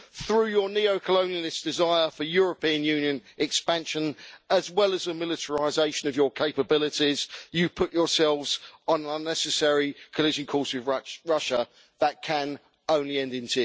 Through your neo colonialist desire for European Union expansion, as well as the militarisation of your capabilities, you have put yourselves on an unnecessary collision course with Russia that can only end in